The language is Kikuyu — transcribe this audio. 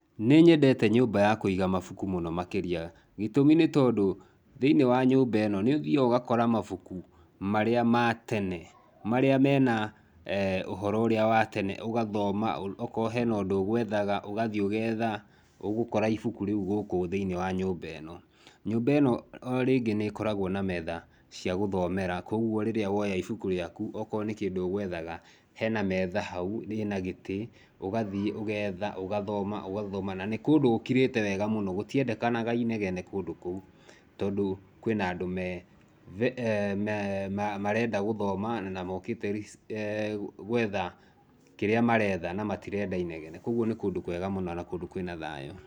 Nĩ nyendete nyũmba ya kũiga mabuku mũno makĩria, gĩtũmi nĩ tondũ, thĩinĩ wa nyũmba ĩno, nĩ ũthiaga ũgakora mabuku marĩa ma tene, marĩa me na ũhoro ũrĩa wa tene, ũgathoma, akorũo he na ũndũ ũgwethaga, ũgathiĩ ũgetha, ũgũkora ibuku rĩu gũkũ thĩinĩ wa nyũmba ĩno. Nyũmba ĩno o rĩngĩ nĩ ĩkoragũo na metha cia gũthomera kũoguo rĩrĩa woya ibuku rĩaku, akorũo nĩ kĩndũ ũgwethaga, he na metha hau, rĩ na gĩtĩ, ũgathiĩ ũgetha, ũgathoma, ũgathoma, na nĩ kũndũ gũkirĩte wega mũno, gũtiendekanaga inegene kũndũ kũu, tondũ kwĩ na andũ marenda gũthoma na mokĩte gwetha kĩrĩa maretha na matirenda inegene. Kwoguo nĩ kũndũ kwega mũno na kũndũ kwĩ na thayũ.